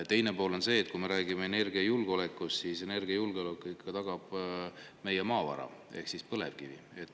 Teine pool on see, et kui me räägime energiajulgeolekust, siis energiajulgeoleku siiski tagab meie maavara ehk põlevkivi.